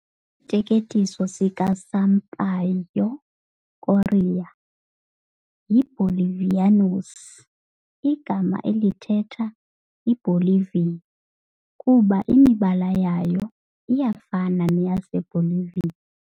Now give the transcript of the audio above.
Isiteketiso sikaSampaio Corrêa "yiBolivianos", igama elithetha "iiBolivia", kuba imibala yayo iyafana neyaseBolivia.